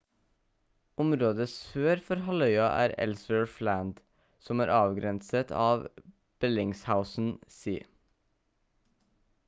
området sør for halvøya er ellsworth land som er avgrenset av bellingshausen sea